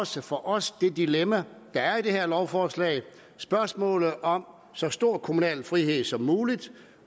set for os det dilemma der er i det her lovforslag spørgsmålet om så stor kommunal frihed som muligt